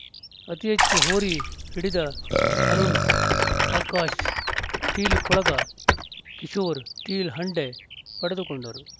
ಅತೀ ಹೆಚ್ಚು ಹೋರಿ ಹಿಡಿದ ಅರುಣ್ ಆಕಾಶ್‌ ಸ್ಟೀಲ್‌ ಕೊಳಗ ಕಿಶೋರ್‌ ಸ್ಟೀಲ್‌ ಹಂಡೆ ಪಡೆದುಕೊಂಡರು